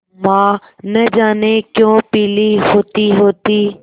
माँ न जाने क्यों पीली होतीहोती